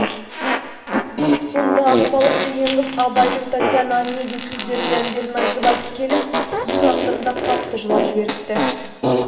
сонда ақбалық деген қыз абайдың татьяна онегин сөздерін әндерін айтып-айтып келіп ең ақырында қатты жылап жіберіпті